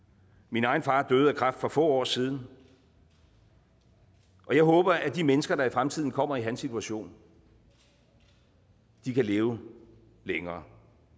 min egen far døde af kræft for få år siden jeg håber at de mennesker der i fremtiden kommer i hans situation kan leve længere